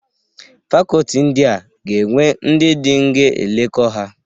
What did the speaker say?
Fakoti ndịa ga-enwe ndị dịn ga-eleko ha.